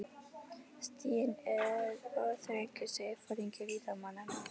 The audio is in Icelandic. Stiginn er of þröngur, segir foringi líkmannanna.